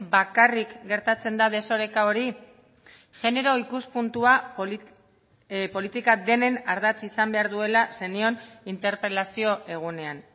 bakarrik gertatzen da desoreka hori genero ikuspuntua politika denen ardatz izan behar duela zenion interpelazio egunean